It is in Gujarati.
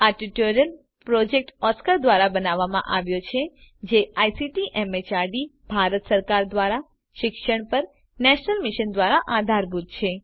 આ ટ્યુટોરીયલ પ્રોજેક્ટ ઓસ્કાર ધ્વારા બનાવવામાં આવ્યો છે અને આઇસીટી એમએચઆરડી ભારત સરકાર દ્વારા શિક્ષણ પર નેશનલ મિશન દ્વારા આધારભૂત છે